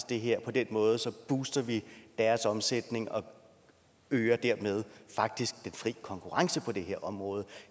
det her på den måde så booster vi deres omsætning og øger dermed faktisk den fri konkurrence på det her område